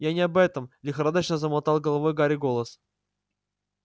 я не об этом лихорадочно замотал головой гарри голос